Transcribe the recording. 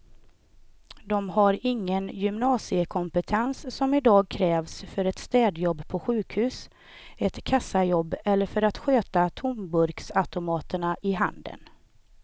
De har ingen gymnasiekompetens som i dag krävs för ett städjobb på sjukhus, ett kassajobb eller för att sköta tomburksautomaterna i handeln.